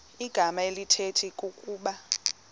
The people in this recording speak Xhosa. igama elithetha ukuba